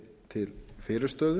til fyrirstöðu